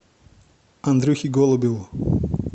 андрюхе голубеву